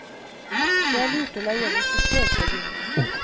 Det er lurt å leie en instruktør til å begynne med.